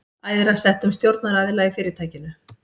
æðra settum stjórnaraðila í fyrirtækinu.